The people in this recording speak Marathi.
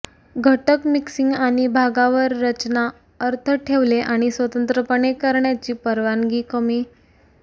घटक मिक्सिंग आणि भागावर रचना अर्थ ठेवले आणि स्वतंत्रपणे करण्याची परवानगी कमी